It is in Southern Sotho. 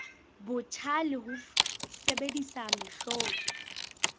botjha le ho sebedisa mehlodi